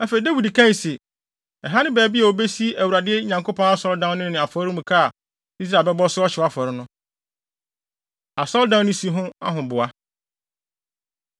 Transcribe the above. Afei, Dawid kae se, “Ɛha ne baabi a wobesi Awurade Nyankopɔn Asɔredan no ne afɔremuka a Israel bɛbɔ so ɔhyew afɔre no.” Asɔredan No Si Ho Ahoboa